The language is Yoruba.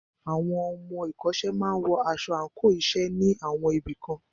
Àwọn ọmọ ìkọ́ṣẹ́ máà wọ aṣọ àńkò iṣẹ́ ní àwọn ibì kan.